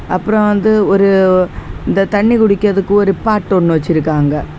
அப்புறம் வந்து ஒரு இந்த தண்ணி குடிக்கிறதுக்கு ஒரு பாட் ஒன்னு வச்சிருக்காங்க.